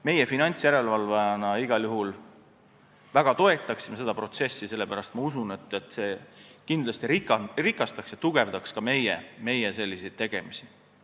Meie finantsjärelevalvajana igal juhul väga toetaksime seda protsessi, sest ma usun, et see kindlasti rikastaks ja tugevdaks ka meie tegemisi.